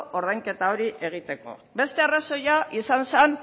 ordainketa hori egiteko beste arrazoia izan zan